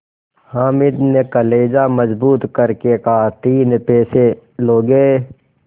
हामिद ने कलेजा मजबूत करके कहातीन पैसे लोगे